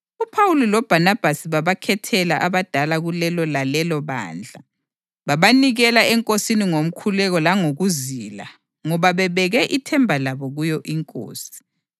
UPhawuli loBhanabhasi babakhethela abadala kulelo lalelo bandla, babanikela eNkosini ngomkhuleko langokuzila ngoba bebeke ithemba labo kuyo iNkosi.